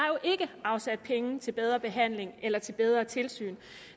ikke afsat penge til bedre behandling eller til bedre tilsyn